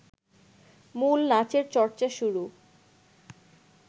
মূল নাচের চর্চা শুরু